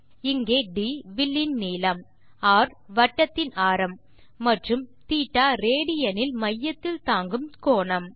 இங்கே ட் வில்லின் நீளம் ர் வட்டத்தின் ஆரம் மற்றும் θ ரேடியன் இல் மையத்தில் தாங்கும் கோணம்